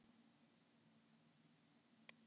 tvíburar geta verið eineggja eða tvíeggja